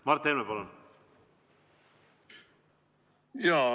Mart Helme, palun!